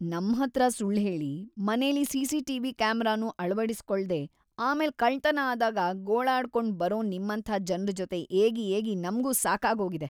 ನಮ್ಹತ್ರ ಸುಳ್ಳ್ ಹೇಳಿ, ಮನೆಲಿ ಸಿ.ಸಿ.ಟಿ.ವಿ. ಕ್ಯಾಮೆರಾನೂ ಅಳವಡಿಸ್ಕೊಳ್ದೇ ಆಮೇಲ್ ಕಳ್ತನ ಆದಾಗ ಗೋಳಾಡ್ಕೊಂಡ್‌ ಬರೋ ನಿಮ್ಮಂಥ ಜನ್ರ್‌ ಜೊತೆ ಏಗಿ ಏಗಿ ನಮ್ಗೂ ಸಾಕಾಗೋಗಿದೆ.